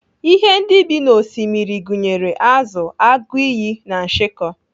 Ihe ndị bi n'Osimiri gụnyere azụ, agụiyi, na nshịkọ.